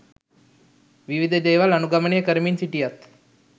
විවිධ දේවල් අනුගමනය කරමින් සිටියත්